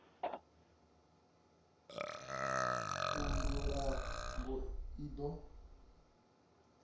vundu la gauteng i do